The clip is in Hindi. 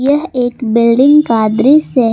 यह एक बिल्डिंग का दृश्य--